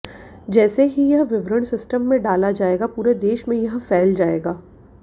जैसे ही यह विवरण सिस्टम में डाला जाएगा पूरे देश में यह फैल जाएगा